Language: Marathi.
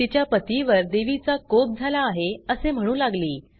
तिच्या पतीवर देवीचा कोप झाला आहे असे म्हणू लागली